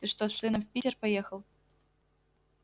ты что с сыном в питер поехал